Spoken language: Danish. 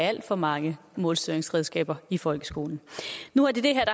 alt for mange målstyringsredskaber i folkeskolen nu er det det